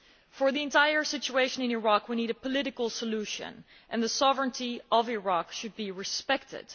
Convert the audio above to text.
For the entire situation in Iraq we need a political situation and the sovereignty of Iraq should be respected.